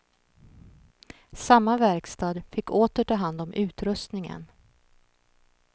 Samma verkstad fick åter ta hand om utrustningen.